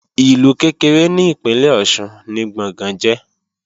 Ìlú kékeré ni ìpínlè Ọ̀ṣun ni Gbọ̀ngán jẹ́